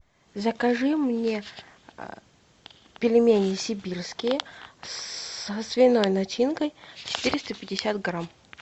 закажи мне пельмени сибирские со свиной начинкой четыреста пятьдесят грамм